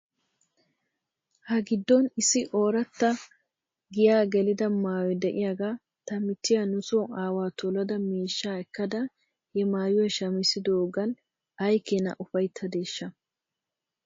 Ha giddon issi ooratta giyaa gelida maayoy de'iyaagaa ta michchiyaa nuso aawaa tolada miishshaa ekkdaara he maayuwaa shammidoogan ay keena ufayttadeeshsha?